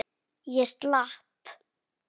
Ég slapp.